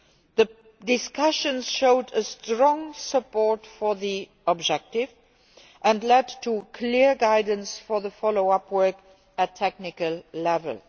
The discussions showed strong support for the objective and led to clear guidance for the follow up work at technical level.